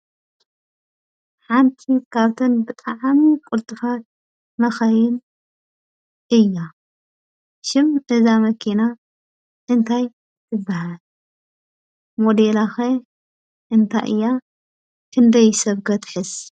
ሓንቲ ኻብተን ብጠዕሚ ቊልጥፍት መካይን እያ። ሽም እዛ መኪና እንታይ ትባሃል? ሞዴላ ኸ እንታይ እያ፣ ክንደይ ሰብከ ትሕዝ?